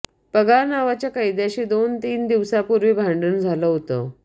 पगार नावाच्या कैद्याशी दोन तीन दिवसापूर्वी भांडण झालं होतं